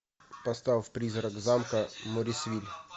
поставь призрак замка моррисвиль